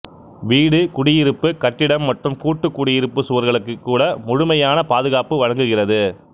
வீடு குடியிருப்பு கட்டிடம் மற்றும் கூட்டு குடியிருப்பு சுவர்களுக்கு கூட முழுமையான பாதுகாப்பு வழங்குகிறது